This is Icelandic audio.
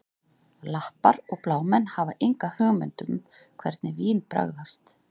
Lappar og blámenn hafa enga hugmynd um hvernig vín bragðast